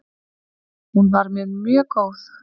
Hún var mér mjög góð.